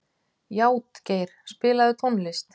Játgeir, spilaðu tónlist.